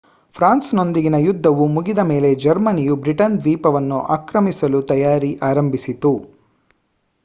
France ನೊಂದಿಗಿನ ಯುದ್ದವು ಮುಗಿದ ಮೇಲೆ ಜರ್ಮನಿಯು ಬ್ರಿಟನ್ ದ್ವೀಪವನ್ನು ಆಕ್ರಮಿಸಲು ತಯಾರಿ ಆರಂಭಿಸಿತು